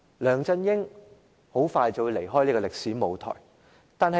梁振英很快便會成為歷史。